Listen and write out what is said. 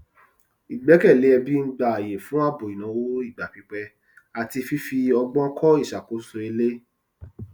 ìgbẹkẹlé ẹbí ń gba ààyè fún ààbò ìnáwó igba pípẹ àti fífi ọgbọn kọ ìṣàkóso ilé